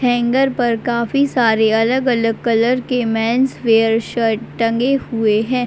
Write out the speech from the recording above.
Hanger पर काफी सारे अलग-अलग कलर के मेंस वियर शर्ट्स टंगे हुए हैं।